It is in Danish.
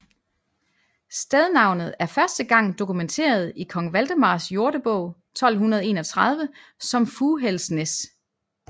Stednavnet er første gang dokumenteret i Kong Valdemars Jordebog 1231 som Fughælsnæs